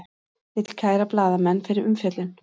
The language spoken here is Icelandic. Vill kæra blaðamenn fyrir umfjöllun